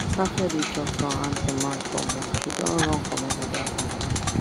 after deh chop from hand to mouth for month she don run commot that company